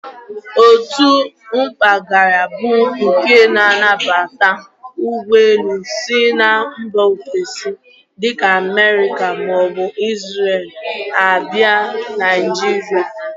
Otu mpaghara bụ nke na-anabata ụgbọelu si mba ofesi dịka Amerịka maọbụ Izrel a bịa Naijiria.